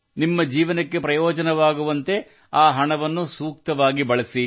ನಿಮ್ಮ ಜೀವನಕ್ಕೆ ಪ್ರಯೋಜನವಾಗುವಂತೆ ಆ ಹಣವನ್ನು ಸೂಕ್ತವಾಗಿ ಬಳಸಿ